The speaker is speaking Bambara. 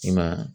I ma